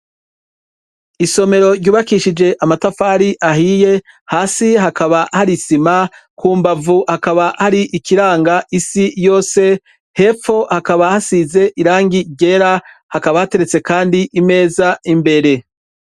Isomero ryubakishije amatafari ahiye hasi hakaba hari isima ku mbavu hakaba hari ikiranga isi yose hepfo hakaba hasize irangi ryera hakaba hateretse kandi imeza imbere.